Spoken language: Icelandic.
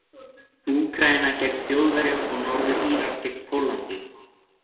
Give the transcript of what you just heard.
Úkraína gegn Þjóðverjum og Norður-Írar gegn Póllandi.